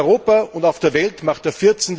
In Europa und auf der Welt macht der